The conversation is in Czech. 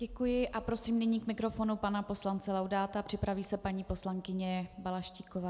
Děkuji a prosím nyní k mikrofonu pana poslance Laudáta, připraví se paní poslankyně Balaštíková.